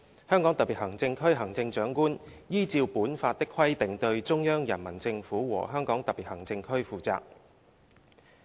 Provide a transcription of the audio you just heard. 香港特別行政區行政長官依照本法的規定對中央人民政府和香港特別行政區負責。